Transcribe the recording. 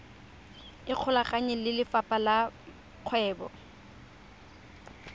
ikgolaganye le lefapha la kgwebo